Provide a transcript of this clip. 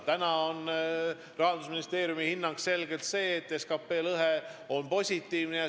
Praegu on Rahandusministeeriumi hinnang selgelt selline, et SKT lõhe on positiivne.